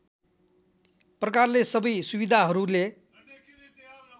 प्रकारले सबै सुविधाहरूले